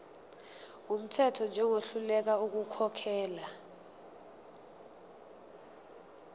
wumthetho njengohluleka ukukhokhela